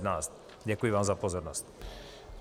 Děkuji vám za pozornost.